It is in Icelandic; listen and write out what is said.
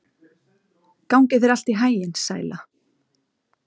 Gangi þér allt í haginn, Sæla.